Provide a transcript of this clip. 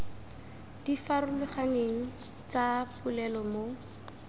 di farologaneng tsa dipolelo mo